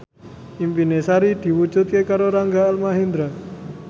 impine Sari diwujudke karo Rangga Almahendra